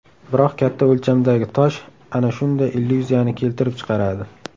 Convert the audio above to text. Biroq katta o‘lchamdagi tosh ana shunday illyuziyani keltirib chiqaradi.